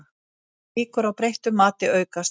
Líkur á breyttu mati aukast